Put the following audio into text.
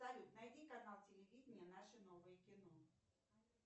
салют найди канал телевидение наше новое кино